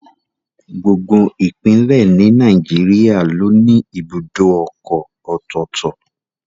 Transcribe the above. Gbogbo Ìpínlẹ̀ ni Nàìjíríà ló ní ibùdó ọkọ̀ ọ̀tọ̀ọ̀tọ̀